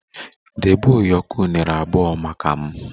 Debe ụyọkọ unere abụọ maka m!